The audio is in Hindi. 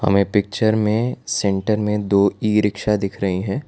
हमें पिक्चर में सेंटर में दो ई रिक्शा दिख रहे हैं।